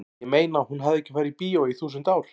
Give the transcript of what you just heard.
ég meina hún hafði ekki farið í bíó í þúsund ár.